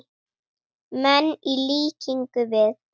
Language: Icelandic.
menn, í líkingu við.